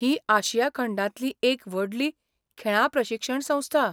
ही आशिया खंडांतली एक व्हडली खेळां प्रशिक्षण संस्था.